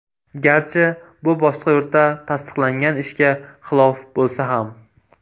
Garchi bu boshqa yurtda tasdiqlangan ishga xilof bo‘lsa ham.